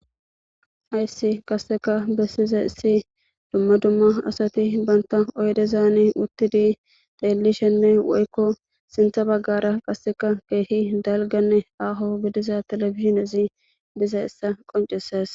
Hayssi qasseka bessize issi dumma dumma asati banta oydezaani uttidi teelishenne woykko sintha baggara qasseka keehi dalganne aaho gidiza telebizinezi dizayissa qonceses